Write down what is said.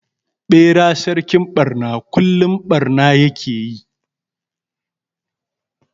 Ɓera sarkin ɓarna kullum barna ya ke yi.